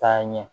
Taa ɲɛ